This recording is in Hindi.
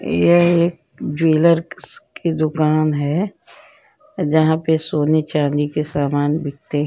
ये एक ज्वेलर की दुकान है जहां पर सोने-चांदी सामान बिकते --